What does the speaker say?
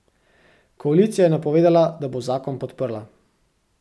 Koalicija je napovedala, da bo zakon podprla.